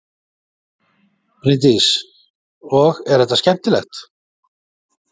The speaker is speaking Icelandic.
Bryndís: Og er þetta skemmtilegt?